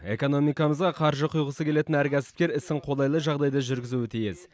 экономикамызға қаржы құйғысы келетін әр кәсіпкер ісін қолайлы жағдайда жүргізуі тиіс